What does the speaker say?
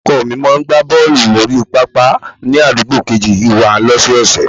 Ọkọ mi máa ń gbá bọ́ọ̀lù lórí pápá ni àdúgbò kejì wá ní ọ̀sọ̀ọ̀sẹ̀